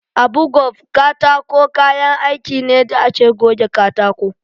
Abu gove katako kayan aiki ne da ake goge katako.